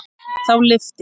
Þá lyfti